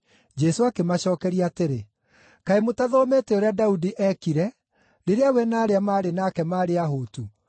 Jesũ akĩmacookeria atĩrĩ, “Kaĩ mũtathomete ũrĩa Daudi eekire, rĩrĩa we na arĩa maarĩ nake maarĩ ahũtu?